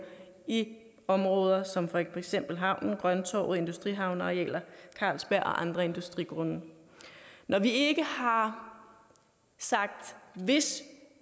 i områder som for eksempel havnen grønttorvet industrihavnenarealet carlsberg og på andre industrigrunde når vi ikke har sagt at hvis